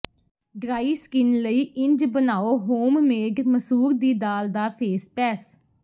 dry skin ਲਈ ਇੰਝ ਬਣਾਓ ਹੋਮਮੇਡ ਮਸੂਰ ਦੀ ਦਾਲ ਦਾ ਫੇਸ ਪੈਸ